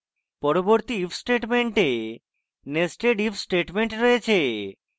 পরবর্তী if statement nested if statement রয়েছে